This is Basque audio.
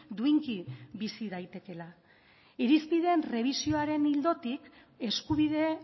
duinki bizi daitekeela irizpideen errebisioaren ildotik eskubide